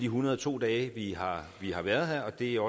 hundrede og to dage vi har vi har været her og det er